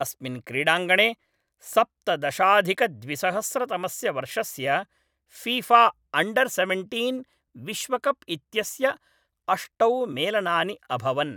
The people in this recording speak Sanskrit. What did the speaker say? अस्मिन् क्रीडाङ्गणे सप्तदशाधिकद्विसहस्रतमस्य वर्षस्य फीफा अण्डर् सेवेण्तीन् विश्वकप् इत्यस्य अष्टौ मेलनानि अभवन् ।